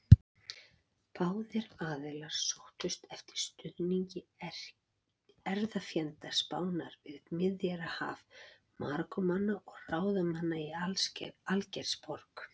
Báðir aðilar sóttust eftir stuðningi erfðafjenda Spánar við Miðjarðarhafið: Marokkómanna og ráðamanna í Algeirsborg.